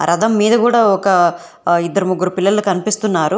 రథం మీద కూడా ఒక ఇద్దరు ముగ్గురు పిల్లలు కనిపిస్తున్నారు.